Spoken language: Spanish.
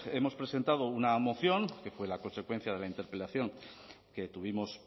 hemos presentado una moción que fue la consecuencia de la interpelación que tuvimos